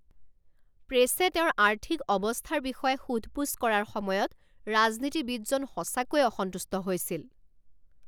প্ৰেছে তেওঁৰ আৰ্থিক অৱস্থাৰ বিষয়ে সোধ পোছ কৰাৰ সময়ত ৰাজনীতিবিদজন সঁচাকৈয়ে অসন্তুষ্ট হৈছিল।